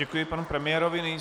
Děkuji panu premiérovi.